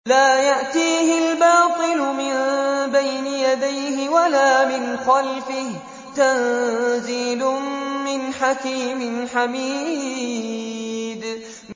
لَّا يَأْتِيهِ الْبَاطِلُ مِن بَيْنِ يَدَيْهِ وَلَا مِنْ خَلْفِهِ ۖ تَنزِيلٌ مِّنْ حَكِيمٍ حَمِيدٍ